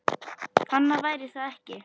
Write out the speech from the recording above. Annað væri það ekki.